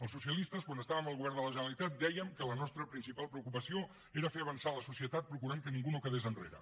els socialistes quan estàvem al govern de la generalitat dèiem que la nostra principal preocupació era fer avançar la societat procurant que ningú no quedés enrere